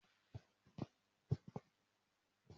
N o wa fi bí mo se mọ́ inádá sí fùn o